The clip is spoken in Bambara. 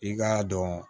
I k'a dɔn